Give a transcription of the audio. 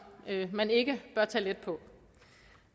man ikke bør tage let på